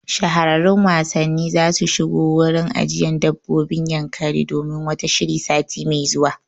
Shahararrun wasanni zasu shigo wurin ajiyan dabbobin Yankari domin wata shiri sati mai zuwa